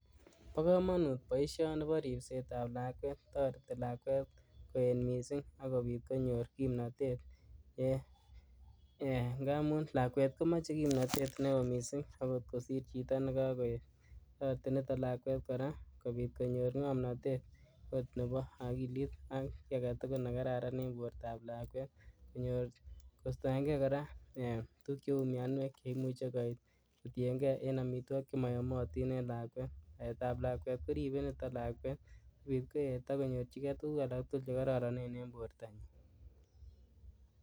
Bo komonut boisioni boo ripsetab lakwet toretilakwet koet misink ak kobit konyor kimnotet ngamun lakwet komoche kimnotet neo misink okot kosir chitoo nekokoet toreti nito lakwet koraa kobit konyor ngomnotet ot neboo okilit ak kii aketugul nekararan en bortab lakwet kostoengee koraa tukuk cheu mionuek cheimuche koit kotiengee en omitwokik chemoyomotin en lakwet baetab lakwet koriben niton kot koet ak konyorjikee tukuk alak tugul chekororonen en borto.